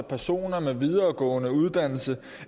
personer med videregående uddannelse